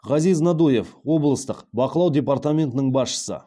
ғазиз надуев облыстық бақылау департаментінің басшысы